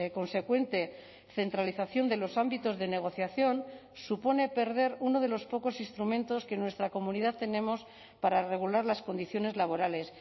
consecuente centralización de los ámbitos de negociación supone perder uno de los pocos instrumentos que en nuestra comunidad tenemos para regular las condiciones laborales